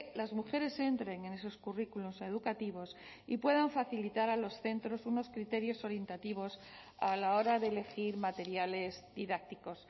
las mujeres entren en esos currículos educativos y puedan facilitar a los centros unos criterios orientativos a la hora de elegir materiales didácticos